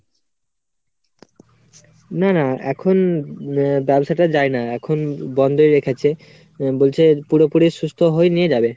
না না এখন ব্যবসা টায় যায় না, এখন বন্ধই রেখেছে বলছে পুরোপুরি সুস্থ হয়ে নিয়ে যাবে।